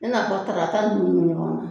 Ne n'a fɔ tarata nunnu